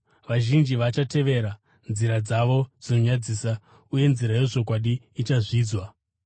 Vazhinji vachatevera nzira dzavo dzinonyadzisa uye nzira yezvokwadi ichazvidzwa.